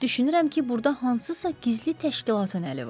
Düşünürəm ki, burda hansısa gizli təşkilatın əli var.